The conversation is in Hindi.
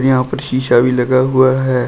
यहां पर शीशा भी लगा हुआ है।